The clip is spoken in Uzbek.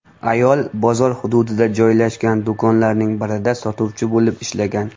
Ayol bozor hududida joylashgan do‘konlarning birida sotuvchi bo‘lib ishlagan.